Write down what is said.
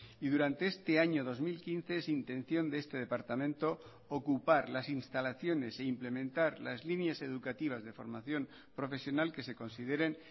y durante este año dos mil quince es intención de este departamento ocupar las instalaciones e implementar las líneas educativas de formación profesional que se consideren